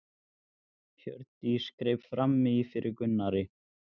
Hann er klæddur fínustu fötunum sínum eins og aðrir nemendur.